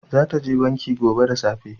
Za ta je banki gobe da safe